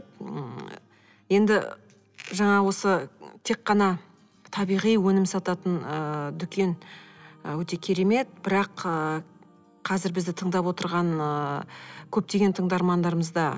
м енді жаңа осы тек қана табиғи өнім сататын ы дүкен ы өте керемет бірақ ы қазір бізді тыңдап отырған ыыы көптеген тыңдармандарымыз да